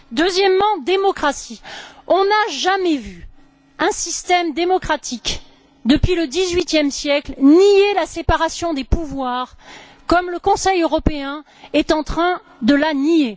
Le deuxième mot est démocratie. Nous n'avons jamais vu un système démocratique, depuis le dix huitième siècle, nier la séparation des pouvoirs comme le Conseil européen est en train de la nier.